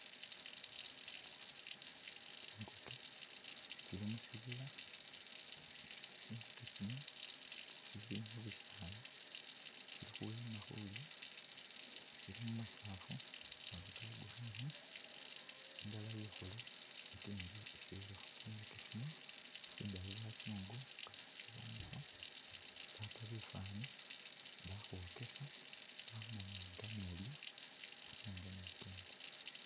Tsingukye tsili mushibila tsinguke tsino tsili mubisaala tsili khuyiima khulya tsili mumasaafu kamasaafu ka green indala ikhulu ikindi isilikho, tsingukye tsino tsindaayi, bazungu nga batsiboneekho baapa bifani bakhwokesa khwamanya nga ne’lya ate nga ne ikenda.